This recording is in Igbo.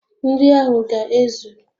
Nri ahụ ga ezu